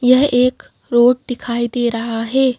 यह एक रोड दिखाई दे रहा है।